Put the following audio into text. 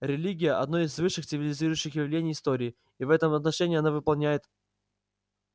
религия одно из высших цивилизующих влияний истории и в этом отношении она выполняет